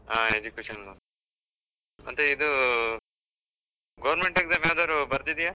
ಆ education loan , ಮತ್ತೆ ಇದೂ government exam ಯಾವ್ದಾದ್ರು ಬರ್ದಿದ್ದ್ಯಾ?